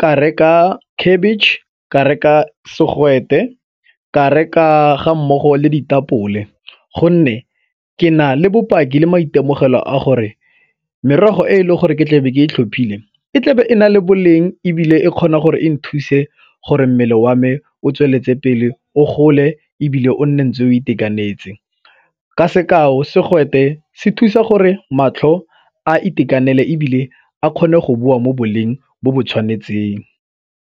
ka reka khabitšhe, ka reka segwete, ka reka ga mmogo le ditapole gonne ke na le bopaki le maitemogelo a gore merogo e e le gore ke tle be ke e tlhophile e tlabe e na le boleng ebile e kgona gore e nthuse gore mmele wa me o tsweletse pele o gole ebile o nne ntse o itekanetse. Ka sekao, segwete se thusa gore matlho a itekanele ebile a kgone go boa mo boleng bo bo tshwanetseng.